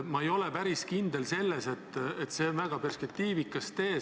Ma ei ole päris kindel, et see on väga perspektiivikas tee.